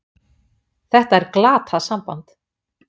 Þetta er glatað samband!